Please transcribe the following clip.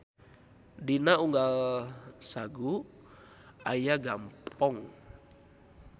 Dina unggal Sagoe aya Gampong.